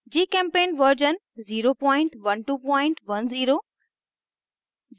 gchempaint version 01210